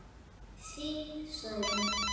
Þín Særún.